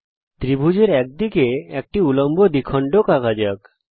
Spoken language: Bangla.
এখন ত্রিভুজের এক দিকে একটি উল্লম্ব দ্বিখণ্ডক আঁকা যাক